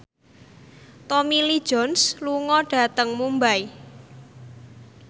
Tommy Lee Jones lunga dhateng Mumbai